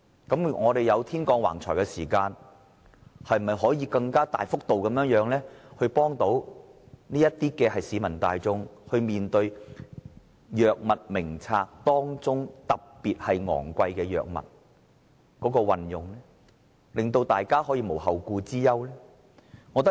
既然政府"天降橫財"，他是否應該更大幅度資助市民大眾使用《藥物名冊》中特別昂貴的藥物，令大家可以無後顧之憂？